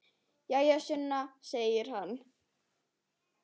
Jæja, Sunna, segir hann.